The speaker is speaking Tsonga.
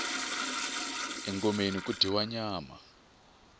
engomeni ku dyiwa nyama